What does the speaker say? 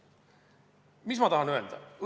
Mis ma tahan öelda?